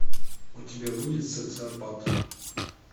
у тебя будет социопат